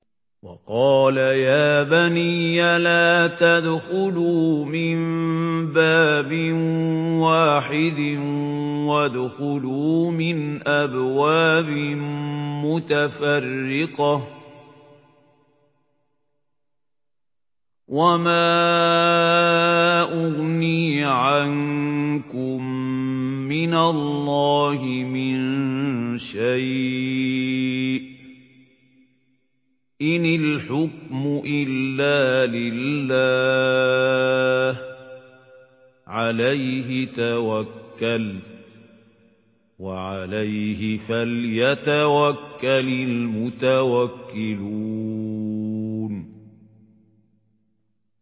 وَقَالَ يَا بَنِيَّ لَا تَدْخُلُوا مِن بَابٍ وَاحِدٍ وَادْخُلُوا مِنْ أَبْوَابٍ مُّتَفَرِّقَةٍ ۖ وَمَا أُغْنِي عَنكُم مِّنَ اللَّهِ مِن شَيْءٍ ۖ إِنِ الْحُكْمُ إِلَّا لِلَّهِ ۖ عَلَيْهِ تَوَكَّلْتُ ۖ وَعَلَيْهِ فَلْيَتَوَكَّلِ الْمُتَوَكِّلُونَ